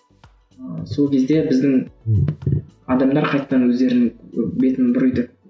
ыыы сол кезде біздің адамдар қайтадан өздерінің бетін